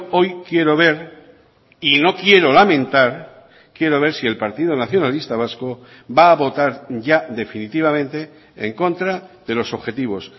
hoy quiero ver y no quiero lamentar quiero ver si el partido nacionalista vasco va a votar ya definitivamente en contra de los objetivos